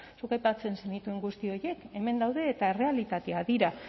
zuk aipatzen zenituen guzti horiek hemen daude eta errealitateak dira